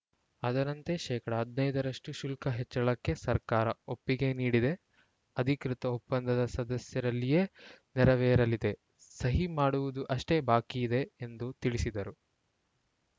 ಅದರಂತೆ ಶೇಕಡಾ ಹದಿನೈದ ರಷ್ಟುಶುಲ್ಕ ಹೆಚ್ಚಳಕ್ಕೆ ಸರ್ಕಾರ ಒಪ್ಪಿಗೆ ನೀಡಿದೆ ಅಧಿಕೃತ ಒಪ್ಪಂದ ಸದ್ಯದಲ್ಲಿಯೇ ನೆರವೇರಲಿದೆ ಸಹಿ ಮಾಡುವುದು ಅಷ್ಟೇ ಬಾಕಿ ಇದೆ ಎಂದು ತಿಳಿಸಿದರು